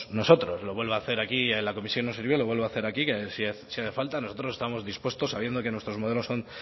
nosotros lo vuelvo a hacer aquí en la comisión no sirvió lo vuelvo a hacer aquí que si hace falta nosotros estamos dispuestos sabiendo que nuestros modelos son